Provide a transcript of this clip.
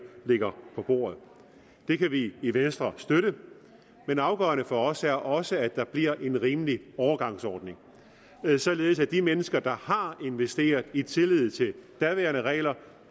ligger på bordet det kan vi i venstre støtte men afgørende for os er også at der bliver lavet en rimelig overgangsordning således at de mennesker der har investeret i tillid til daværende regler